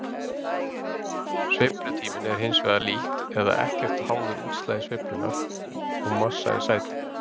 Sveiflutíminn er hins vegar lítt eða ekkert háður útslagi sveiflunnar og massa í sæti.